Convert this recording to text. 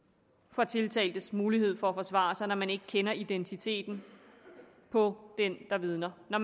for tiltaltes mulighed for at forsvare sig når man ikke kender identiteten på den der vidner når